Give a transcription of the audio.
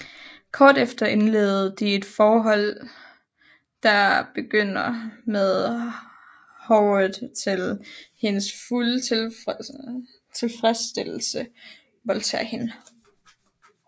Kort efter indleder de et forhold der begynder med at Howard til hendes fulde tilfredsstillelse voldtager hende